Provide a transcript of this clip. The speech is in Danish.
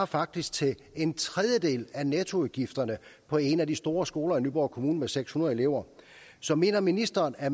faktisk til en tredjedel af nettoudgifterne på en af de store skoler i nyborg kommune med seks hundrede elever så mener ministeren at